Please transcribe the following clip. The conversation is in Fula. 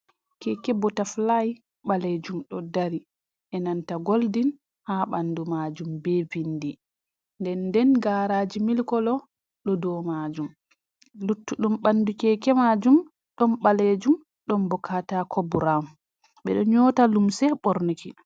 Keeke botafulay ɓaleejum ɗo dari, e nanta goldin haa ɓanndu maajum, be binndi, ndennden gaaraaji mili kolo, ɗo dow maajum. Luttuɗum ɓanndu keke maajum, ɗon ɓaleejum, ɗon bo kataako burawun. Ɓe ɗo nyoota limse ɓornuki.